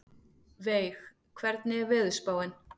Veig, hvernig er veðurspáin?